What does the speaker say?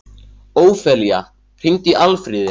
Ófelía, hringdu í Alfríði.